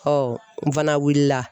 n fana wulila.